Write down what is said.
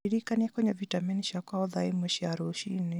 ndirikanagia kũnyua vitameni ciakwa o thaa ĩmwe cia rũciinĩ